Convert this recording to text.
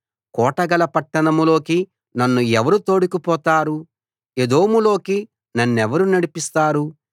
కోటగల పట్టణంలోకి నన్ను ఎవరు తోడుకుపోతారు ఎదోములోకి నన్నెవరు నడిపిస్తారు